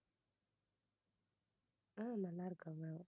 ஆஹ் நல்லா இருக்காங்க.